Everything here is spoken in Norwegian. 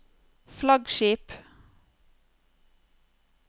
flaggskip